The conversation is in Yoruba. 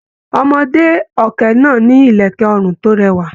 Ọmọde ọkẹ́ náà ni ilẹkẹ ọrun to rẹwa.